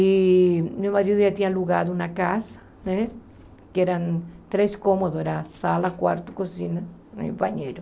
E meu marido já tinha alugado uma casa né, que eram três cômodos, era sala, quarto, cozinha e banheiro.